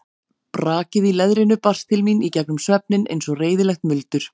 Brakið í leðrinu barst til mín í gegnum svefninn eins og reiðilegt muldur.